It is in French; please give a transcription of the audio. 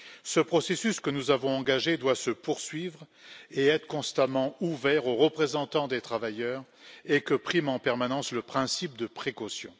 Ce processus que nous avons engagé doit se poursuivre et être constamment ouvert aux représentants des travailleurs et il faut que prime en permanence le principe de précaution.